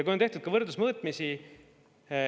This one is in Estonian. On tehtud ka võrdlusmõõtmisi.